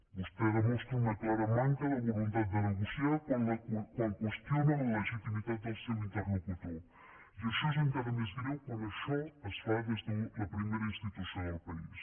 vostè demostra una clara manca de voluntat de negociar quan qüestiona la legitimitat del seu interlocutor i això és encara més greu quan això es fa des de la primera institució del país